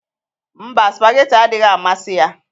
Mba, spagéti adịghị amasị ya.